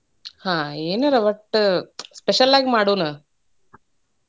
ಹ್ಮ್ ಏನಾರ ಒಟ್ಟ special ಆಗಿ ಮಾಡೋಣ.